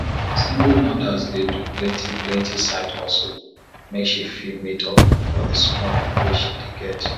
single mothers dey do plenti plenti side hustle make she fit meet up for di small wey she dey get